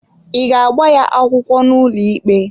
Ị ga-agba ya akwụkwọ n'ụlọikpe?